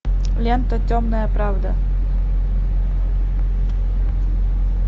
лента темная правда